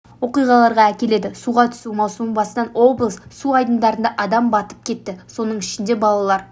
оқиғаларға әкеледі суға түсу маусымы басынан облыс су айдындарында адам батып кетті соның ішінде балалар